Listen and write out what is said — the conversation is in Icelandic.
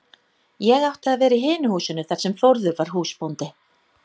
Ég átti að vera í hinu húsinu þar sem Þórður var húsbóndi.